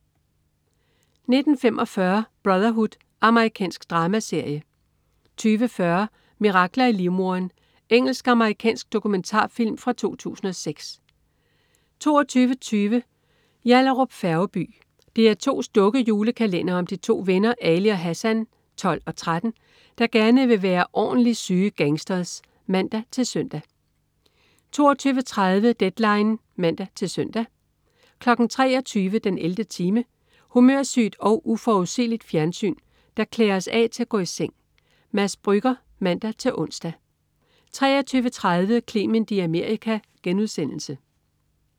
19.45 Brotherhood. Amerikansk dramaserie 20.40 Mirakler i livmoderen. Engelsk-amerikansk dokumentarfilm fra 2006 22.20 Yallahrup Færgeby. DR2's dukke-julekalender om de to venner Ali og Hassan (12 og 13), der gerne vil være ornli' syge gangsters (man-søn) 22.30 Deadline (man-søn) 23.00 den 11. time. Humørsygt og uforudsigeligt fjernsyn, der klæder os af til at gå i seng. Mads Brügger (man-ons) 23.30 Clement i Amerika*